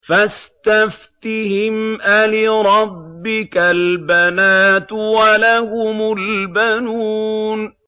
فَاسْتَفْتِهِمْ أَلِرَبِّكَ الْبَنَاتُ وَلَهُمُ الْبَنُونَ